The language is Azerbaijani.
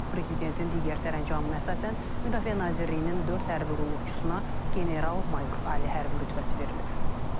Prezidentin digər sərəncamına əsasən Müdafiə Nazirliyinin dörd hərbi qulluqçusuna general-mayor ali hərbi rütbəsi verilib.